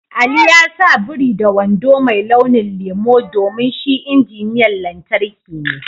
Ali ya sa biri da wando mai launin lemu domin shi injiniyan lantarki ne.